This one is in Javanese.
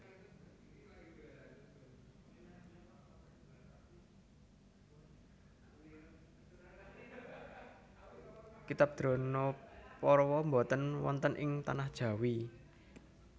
Kitab Dronaparwa boten wonten ing Tanah Jawi